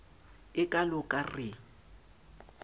e kalo ka r e